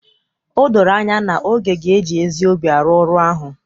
O doro anya na Oge ga-eji ezi obi arụ ọrụ ahụ